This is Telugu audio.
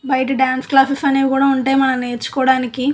బయట డాన్స్ క్లాసెస్ అనేవి కూడా ఉంటాయి మనం నేర్చుకోవడానికి.